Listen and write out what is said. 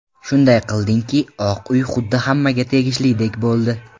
Shunday qildingki, Oq uy xuddi hammaga tegishlidek bo‘ldi.